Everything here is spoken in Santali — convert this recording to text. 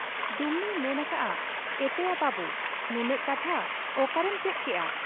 ᱰᱩᱢᱱᱤᱭ ᱢᱮᱱ ᱟᱠᱟᱜ ᱟ, 'ᱮᱛᱮᱭᱟ ᱵᱟᱹᱵᱩ ! ᱱᱩᱱᱟᱹᱜ ᱠᱟᱛᱷᱟ ᱚᱠᱟᱨᱮᱢ ᱪᱮᱫ ᱠᱮᱜ ᱟ ?